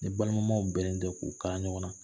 Ni balimaw bɛnnen tɛ k'u kalan ɲɔgɔn na